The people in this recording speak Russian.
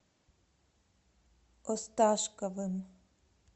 осташковым